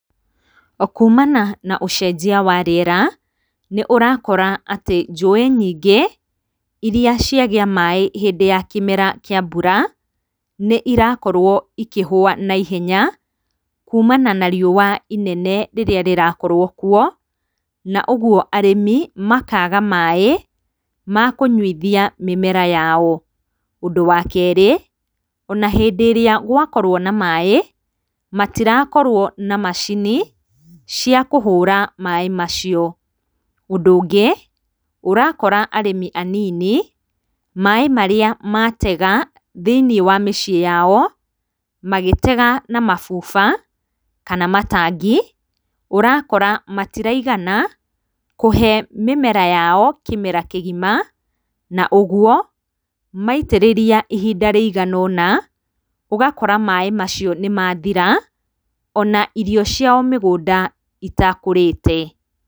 Kumana na ũcejia wa rĩera, nĩũrakora atĩ njũĩ nyingĩ iria ciagĩa maĩ hĩndĩ ya kĩmera kĩa mbura nĩirakorwo ikĩhũa na ihenya kumana na riũa ĩnene rĩrĩa rĩrakorwo kuo na ũguo arĩmi makaga maĩ makũnyuithia mĩmera yao, ũndũ wa kerĩ ,ona rĩrĩa wakorwo na maĩ mattirakorwo na macini cia kũhũra maĩ macio, ũndũ ũngĩ, ũrakora arĩmi anini maĩ marĩa matega thĩinĩ wa mĩciĩ yao magĩtega na mabuba kana matangi ũrakora matiraigana kũhe mĩmera yao kĩmera kĩgima na ũguo maitĩrĩria ihinda rĩigana ũna ũgakora maĩ macio nĩmathira ona irio ciao mĩgũnda itakũrĩte.